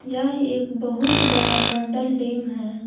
यह एक बहुत बड़ा मंडल डैम है।